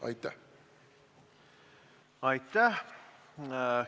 Aitäh!